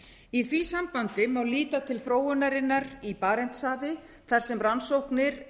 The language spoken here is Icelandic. í því sambandi má líta til þróunarinnar í barentshafi þar sem rannsóknir